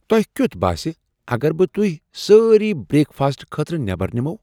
تۄہِہ کِیُتھ باسہِ اگر بہٕ تُہۍ سٲری بریک فاسٹہٕ خٲطرٕ نیبر نِموو ؟